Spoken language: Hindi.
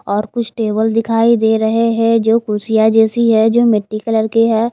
और कुछ टेबल दिखाई दे रहे हैं जो कुर्सिया जैसी है जो मिट्टी कलर के हैं।